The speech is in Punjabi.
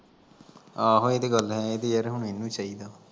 ਆਹੋ ਏ ਤੇ ਗੱਲ ਏ ਯਰ ਏਨੁ ਈ ਚਾਈਦਾ